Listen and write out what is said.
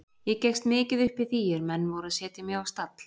Ég gekkst mikið upp í því er menn voru að setja mig á stall.